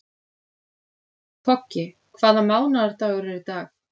Toggi, hvaða mánaðardagur er í dag?